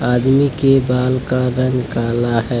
आदमी के बाल का रंग काला है।